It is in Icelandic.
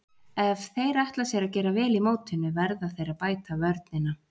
Ef þeir ætla sér að gera vel í mótinu verða þeir að bæta vörnina.